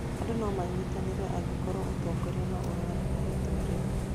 Andũ nomanyite angĩkorwo ũtongoria no ũregane na itua rĩu